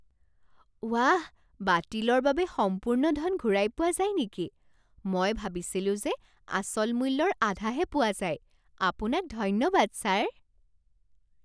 ৱাঃ! বাতিলৰ বাবে সম্পূৰ্ণ ধন ঘূৰাই পোৱা যায় নেকি, মই ভাবিছিলো যে আচল মূল্যৰ আধাহে পোৱা যায়। আপোনাক ধন্যবাদ ছাৰ